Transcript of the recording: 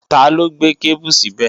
Taló gbé kébù síbẹ̀?